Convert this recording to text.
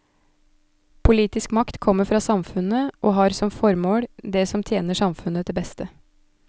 Politisk makt kommer fra samfunnet, og har som formål det som tjener samfunnet til beste.